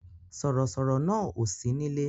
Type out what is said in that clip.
Sọ̀rọ̀ sọ̀rọ̀ náà ò sí nílé